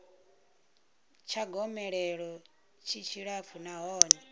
tsha gomelelo tshi tshilapfu nahone